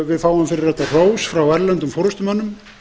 við fáum fyrir þetta hrós frá erlendum forustumönnum